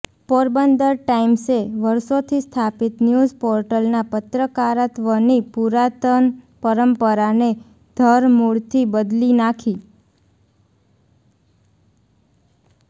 પોરબંદર ટાઈમ્સે વર્ષોથી સ્થાપિત ન્યુઝ પોર્ટલ ના પત્રકારત્વની પુરાતન પરંપરાને ધરમૂળથી બદલી નાખી